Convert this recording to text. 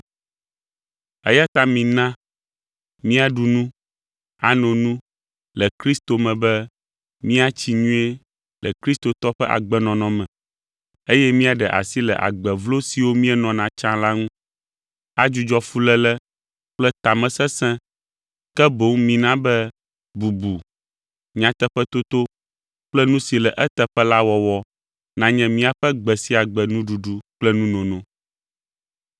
Eya ta mina míaɖu nu, ano nu le Kristo me be míatsi nyuie le kristotɔ ƒe agbenɔnɔ me, eye míaɖe asi le agbe vlo siwo míenɔna tsã la ŋu, adzudzɔ fuléle kple tamesesẽ, ke boŋ mina be bubu, nyateƒetoto kple nu si le eteƒe la wɔwɔ nanye míaƒe gbe sia gbe nuɖuɖu kple nunono.